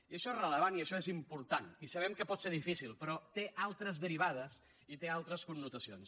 i això és rellevant i això és important i sabem que pot ser difícil però té altres derivades i té altres connotacions